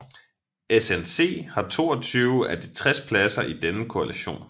SNC har 22 af de 60 pladser i denne koalition